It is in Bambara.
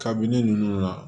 Kabini ninnu na